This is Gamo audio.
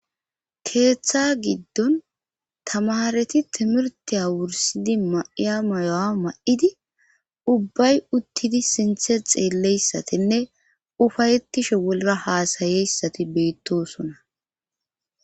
keeththa giddon tamareti timirtiya wursidi ma7iya mayo7a ma7idi ubbay uttidi sinthe xeelleyssatinne ufayettishe wolga haasayeyssati beettosona